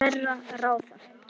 hverra ráða.